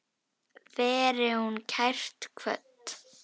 Veri hún kært kvödd.